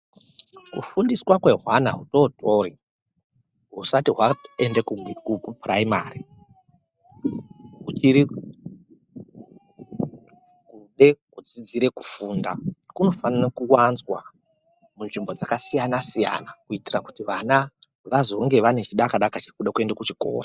Kufundiswa kwehwana hutootori, husati hwaende kuPhuraimari, huchiri kude kudzidzire kufunda, kunofanira kuwanzwa munzvimbo dzakasiyana-siyana, kuitira kuti vana vazonge, vane chidakadaka chekuda kuenda kuchikora